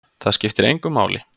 Það skiptir engu máli!